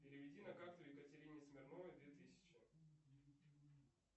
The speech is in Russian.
переведи на карту екатерине смирновой две тысячи